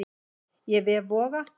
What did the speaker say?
Af vef Voga